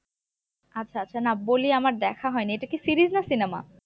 আচ্ছা আচ্ছা না বলি আমার দেখা হয়নি এটা কি series না cinema?